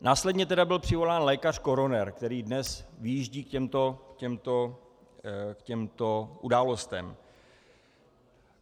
Následně tedy byl přivolán lékař koroner, který dnes vyjíždí k těmto událostem.